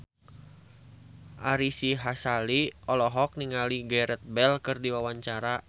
Ari Sihasale olohok ningali Gareth Bale keur diwawancara